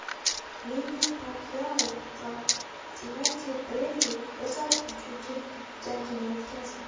Menni Pakyao va Timoti Bredli o‘zaro uchinchi jangini o‘tkazdi.